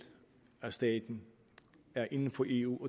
af staten er inden for eu